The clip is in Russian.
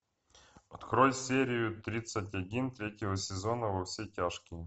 открой серию тридцать один третьего сезона во все тяжкие